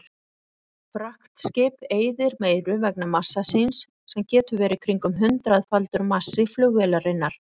Fraktskip eyðir meiru vegna massa síns sem getur verið kringum hundraðfaldur massi flugvélarinnar.